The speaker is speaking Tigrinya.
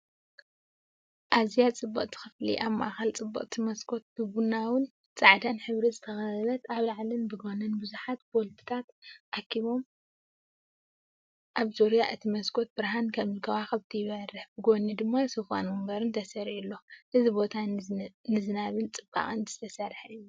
ኣዝያ ጽብቕቲ ክፍሊ! ኣብ ማእከል ጽብቕቲ መስኮት፡ ብቡናውን ጻዕዳን ሕብሪ ዝተኸበበት። ኣብ ላዕሊን ብጎኒን ብዙሓት ቦልትታት ተኣኪቦም፡ ኣብ ዙርያ እቲ መስኮት ብርሃን ከም ከዋኽብቲ ይበርህ። ብጎኒ ድማ ሶፋን መንበርን ተሰሪዑ ኣሎ። እዚ ቦታ ንዝናብን ጽባቐን ዝተሰርሐ እዩ!"